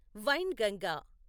Wainganga